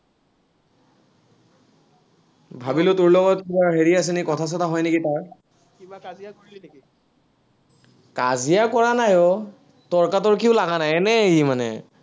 ভাৱিলো তোৰ লগত কিবা হেৰি আছে নেকি, কথা-চথা হয় নেকি, তাৰ। কাজিয়া কৰা নাই অ। তৰ্কাতৰ্কিও লগা নাই, এনেই ই মানে।